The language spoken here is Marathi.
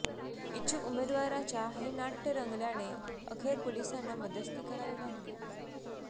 इच्छुक उमेदवाराच्या हे नाट्य रंगल्याने अखेर पोलिसांना मध्यस्थी करावी लागली